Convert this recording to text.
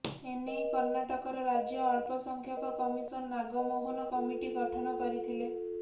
ଏନେଇ କର୍ଣ୍ଣାଟକର ରାଜ୍ୟ ଅଳ୍ପ ସଂଖ୍ୟକ କମିଶନ ନାଗମୋହନ କମିଟି ଗଠନ କରିଥିଲେ